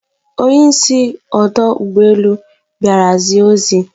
Onye isi ọdọ ụgbọelu bịara zie ozi